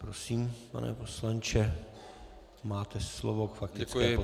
Prosím, pane poslanče, máte slovo k faktické poznámce.